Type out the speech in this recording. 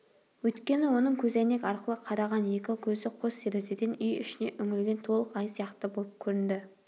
өйткені оның көзәйнек арқылы қараған екі көзі қос терезеден үй ішіне үңілген толық ай сияқты болып көрінді